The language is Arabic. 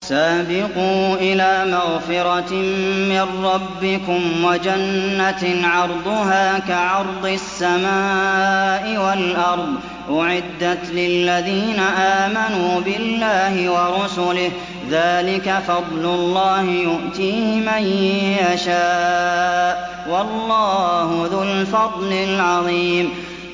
سَابِقُوا إِلَىٰ مَغْفِرَةٍ مِّن رَّبِّكُمْ وَجَنَّةٍ عَرْضُهَا كَعَرْضِ السَّمَاءِ وَالْأَرْضِ أُعِدَّتْ لِلَّذِينَ آمَنُوا بِاللَّهِ وَرُسُلِهِ ۚ ذَٰلِكَ فَضْلُ اللَّهِ يُؤْتِيهِ مَن يَشَاءُ ۚ وَاللَّهُ ذُو الْفَضْلِ الْعَظِيمِ